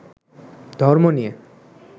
ধর্ম নিয়ে